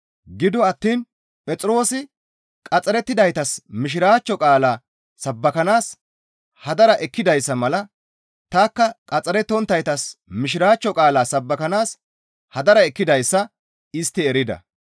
Gido attiin Phexroosi qaxxarettidaytas Mishiraachcho qaalaa sabbakanaas hadara ekkidayssa mala tanikka qaxxarettonttaytas Mishiraachcho qaalaa sabbakanaas hadara ekkidayssa istti erida.